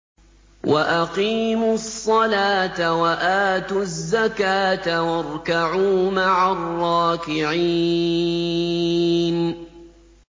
وَأَقِيمُوا الصَّلَاةَ وَآتُوا الزَّكَاةَ وَارْكَعُوا مَعَ الرَّاكِعِينَ